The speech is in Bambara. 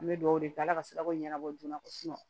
An bɛ dugawu kɛ ala ka sirako ɲɛnabɔ joona ko